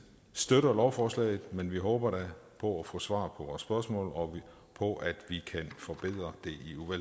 støtter lovforslaget men vi håber da på at få svar på vores spørgsmål og på at vi kan forbedre det